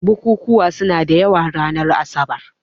Bukukkuwa suna da yawa ranar asabar.